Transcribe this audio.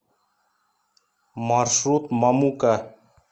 маршрут мамука